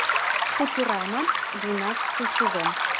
футурама двенадцатый сезон